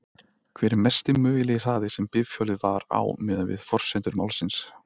Hver er mesti mögulegi hraði sem bifhjólið var á miðað við forsendur málsins?